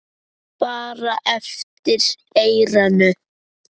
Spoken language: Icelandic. Bara eftir eyranu.